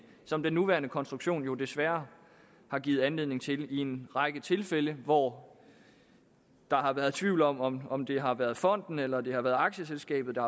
som den nuværende konstruktion jo desværre har givet anledning til i en række tilfælde hvor der har været tvivl om om om det har været fonden eller det har været aktieselskabet